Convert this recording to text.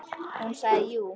Og hún sagði jú.